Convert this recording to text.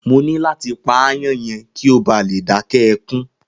Mo ní láti pa aáyán yẹn kí ó bá lè dáké ẹkún.